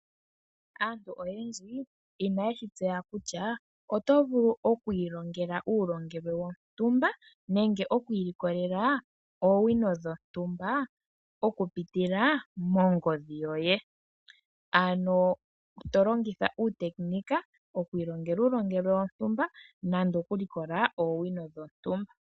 Aantu oyendji inaye shi tseya kutya oto vulu oku ilongela uulongelwe wontumba nenge oku ilikolela oowino dhontumba okupitila mongodhi yoye, ano to longitha uutekinika oku ilongela uulongelwe wontumba nande okulikola oowino dhontumba.